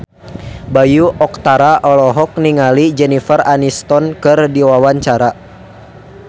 Bayu Octara olohok ningali Jennifer Aniston keur diwawancara